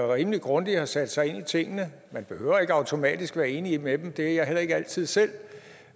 rimelig grundigt har sat sig ind i tingene man behøver ikke automatisk være enig med dem det er jeg heller ikke altid selv